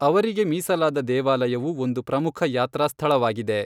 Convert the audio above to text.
ಅವರಿಗೆ ಮೀಸಲಾದ ದೇವಾಲಯವು ಒಂದು ಪ್ರಮುಖ ಯಾತ್ರಾ ಸ್ಥಳವಾಗಿದೆ.